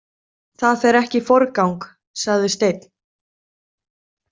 Það fer ekki í forgang, sagði Steinn.